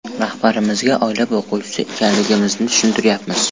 Rahbarimizga oila boquvchisi ekanligimizni tushuntiryapmiz.